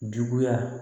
Juguya